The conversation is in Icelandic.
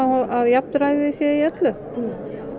að jafnræði sé í öllu